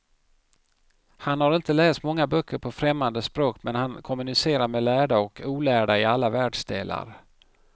Han har inte läst många böcker på främmande språk, men han kommunicerar med lärda och olärda i alla världsdelar.